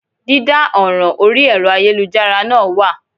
Dídá ọ̀ràn orí ẹ̀rọ ayélujára náà wà